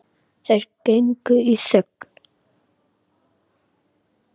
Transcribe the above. Þeir gengu í þögn.